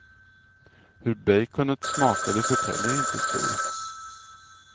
Hur baconet smakade förtäljer inte historien.